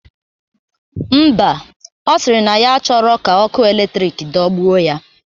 Ḿbà, ọ sịrị na ya achọrọ ka ọkụ eletrik dogbuo ya.